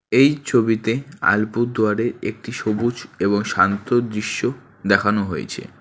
এই ছবিতে আলপুরদুয়ারের একটি সবুজ এবং শান্ত দৃশ্য দেখানো হয়েছে।